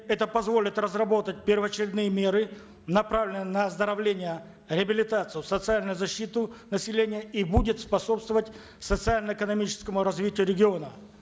это позволит разработать первоочередные меры направленные на оздоровление реабилитацию социальную защиту населения и будет способствовать социально экономическому развитию региона